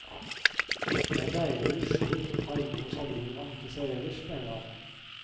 Det er deilig å rusle litt og ta innover seg livet man ikke ser ellers, mener han.